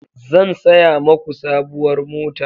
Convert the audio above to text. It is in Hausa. Zan saya maku sabuwar mota.